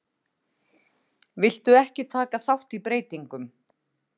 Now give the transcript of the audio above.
Vildu ekki taka þátt í breytingum